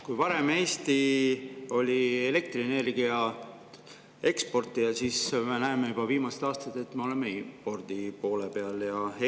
Kui varem Eesti oli elektrienergia eksportija, siis me viimasel ajal näeme, et me oleme impordi poole.